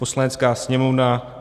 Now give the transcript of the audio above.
"Poslanecká sněmovna